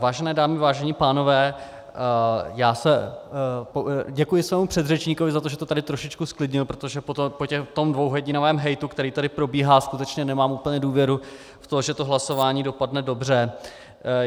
Vážené dámy, vážení pánové, děkuji svému předřečníkovi, za to, že to tady trošičku zklidnil, protože po tom dvouhodinovém hejtu, který tady probíhá, skutečně nemám úplně důvěru v to, že to hlasování dopadne dobře.